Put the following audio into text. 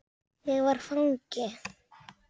Ég var fangi.